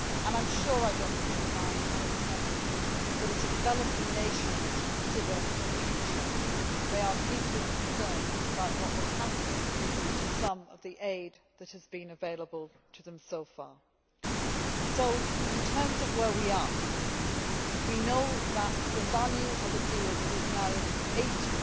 I am sure I do not need to remind honourable Members that, as the developing nations consider the future, they are deeply concerned about what will happen to some of the aid that has been available to them so far. So, in terms of where we are we know the value of a deal that is now 80